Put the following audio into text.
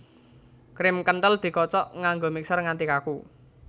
Krim kenthel dikocok nganggo mixer nganti kaku